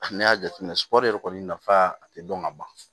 N'i y'a jateminɛ sɔrɔri yɛrɛ kɔni nafa a tɛ dɔn ka ban